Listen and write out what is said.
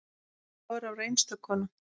Dóra var einstök kona.